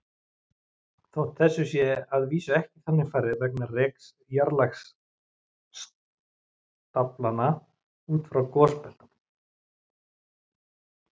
Þótt þessu sé að vísu ekki þannig farið vegna reks jarðlagastaflanna út úr gosbeltunum.